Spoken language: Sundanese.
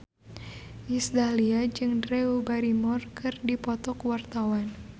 Iis Dahlia jeung Drew Barrymore keur dipoto ku wartawan